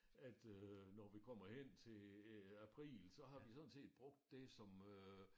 At øh når vi kommer hen til øh april så har vi sådan set brugt det som øh